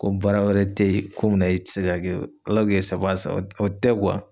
Ko baara wɛrɛ te ye, ko mun na i ti se k'a kɛ, o tɛ .